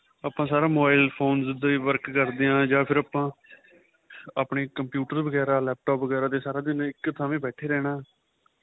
ਆਪਾਂ ਸਾਰਾ mobile phones ਤੇ work ਕਰਦੇ ਆਂ ਜਾਂ ਫ਼ਿਰ ਆਪਾਂ ਆਪਣੀ computer ਵਗੇਰਾ laptop ਵਗੇਰਾ ਦੇ ਸਾਰਾ ਦਿਨ ਇੱਕ ਥਾਵੇਂ ਬੈਠੇ ਰਹਿਣਾ